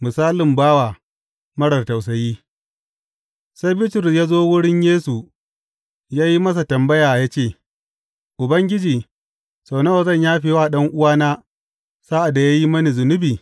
Misalin bawa marar tausayi Sai Bitrus ya zo wurin Yesu ya yi masa tambaya ya ce, Ubangiji, sau nawa zan yafe wa ɗan’uwana sa’ad da ya yi mini zunubi?